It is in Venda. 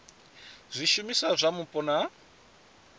zwishumiswa zwa mupo na u